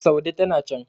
saude tana can